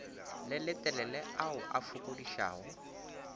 le letelele ao a fokodišago